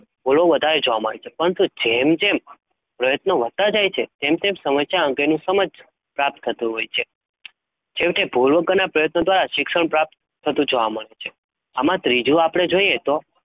ભુલો વધારે જોવા મળે છે? પરતનું, જેમ જેમ પ્રયત્નો વધતાં વધતાં જાય છે? તેમ તેમ સમસ્યા અંગો નું સમજ પ્રાપ્ત થતું હોય છે? છેવટે ભૂલો પ્ર્યત દ્રારા શિક્ષણ પ્રાપ્ત થતું હોય છે? ત્રીજું આપડે જોઈએ તો?